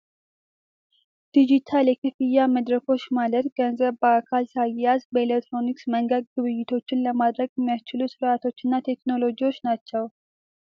ዲጂታል የክፍያ መድረኮች ማለት ገንዘብ በአካል ሳይያዝ በኤሊክትሮኒክስ መንገድ ግብይቶችን ለማድረግ የሚያስችሉ ስራቶችና ቴክኖሎጂዎች ናቸው።